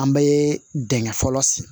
An bɛ dingɛ fɔlɔ